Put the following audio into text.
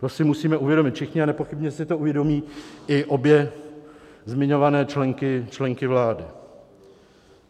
To si musíme uvědomit všichni a nepochybně si to uvědomí i obě zmiňované členky vlády.